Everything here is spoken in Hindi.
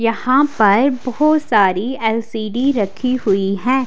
यहाँ पर बहोत सारी एलसीडी रखी हुई है।